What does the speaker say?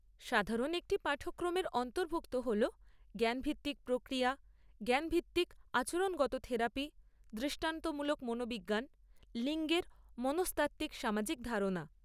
সাধারণ একটি পাঠক্রমের অন্তর্ভুক্ত হল জ্ঞানভিত্তিক প্রক্রিয়া, জ্ঞানভিত্তিক আচরণগত থেরাপি, দৃষ্টান্তমূলক মনোবিজ্ঞান, লিঙ্গের মনস্তাত্ত্বিক সামাজিক ধারণা।